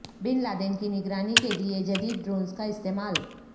بن Laden کی نگرانی کے لیے جدید ڈرونز کا استعمال